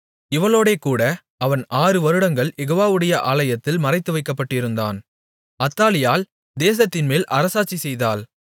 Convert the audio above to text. இவளோடேகூட அவன் ஆறுவருடங்கள் யெகோவாவுடைய ஆலயத்தில் மறைத்துவைக்கப்பட்டிருந்தான் அத்தாலியாள் தேசத்தின்மேல் அரசாட்சிசெய்தாள்